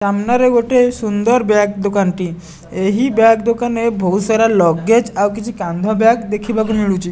ସାମ୍ନାରେ ଗୋଟେ ସୁନ୍ଦର ବ୍ୟାଗ୍ ଦୋକାନ୍ ଟି ଏହି ବ୍ୟାଗ୍ ଦୋକାନ୍ ରେ ବୋହୁତ୍ ସାରା ଲଗେଜ୍ ଆଉ କିଛି କାନ୍ଧ ବ୍ୟାଗ୍ ଦେଖିବାକୁ ମିଳୁଚି।